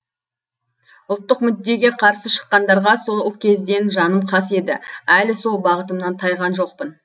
ұлттық мүддеге қарсы шыққандарға сол кезден жаным қас еді әлі сол бағытымнан тайған жоқпын